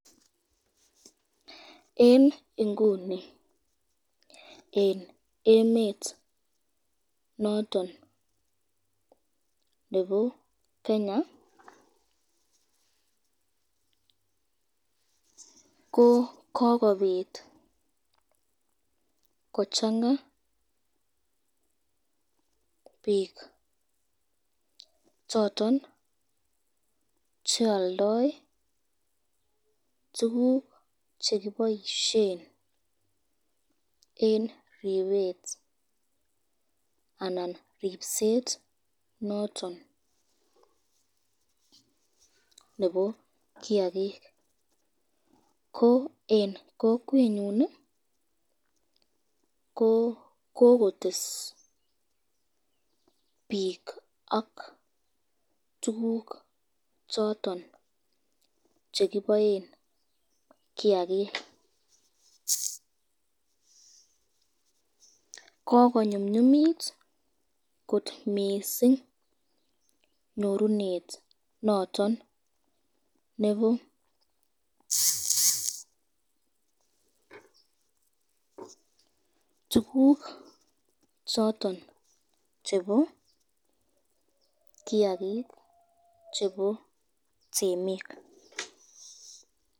En nguni en emet noton nebo Kenya ko kokobit kochanga biik choton chealdoi tukuk chekiboishen en ribet anan ripset noton nebo kiakik ko en kokwenyun kokotes biik ak tukuk choton chekiboen kiakik kokonyumnyumit kot mising nyorunet noton nebo tukuk chebo kiakik chebo temik